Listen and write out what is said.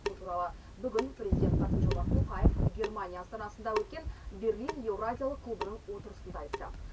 бұл туралы бүгін президент қасым жомарт тоқаев германия астанасында өткен берлин еуразиялық клубының отырысында айтты